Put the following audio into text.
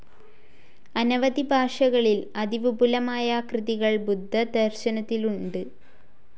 അനവധി ഭാഷകളിൽ, അതിവിപുലമായ കൃതികൾ ബുദ്ധദർശനത്തിലുണ്ട്.